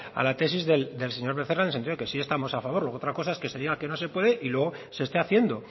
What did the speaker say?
a la tesis del señor becerra en el sentido de que sí estamos a favor luego otra cosa es que se diga que no se puede y luego se esté haciendo